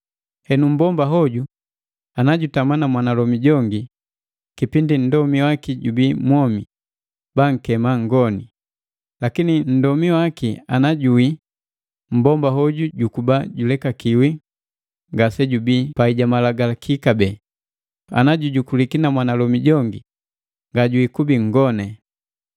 Henu mmbomba hoju na jutama na mwanalomi jongi kipindi nndomi waki jubii mwomi, bankema nhgoni, lakini nndomi waki ana juwii, mmbomba hoju jukuba julekakiwi ngasejubii pai ja malagalaki kabee, ana jujukuliki na mwanalomi jongi ngajwiikubi nhgone.